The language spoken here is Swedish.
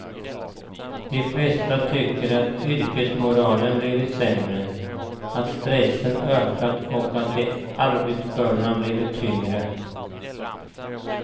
De flesta tycker att yrkesmoralen blivit sämre, att stressen ökat och att arbetsbördorna blivit tyngre.